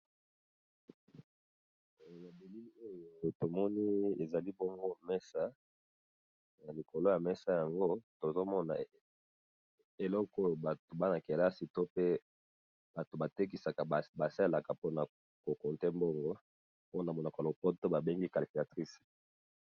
Tomoni ezali bongo mesa, na likolo ya mesa yango tozomona eloko oyo bato bana-kelasi to pe bato batekisaka basalaka mpona compté mbongo pona monoko lopoto babengi calatrice.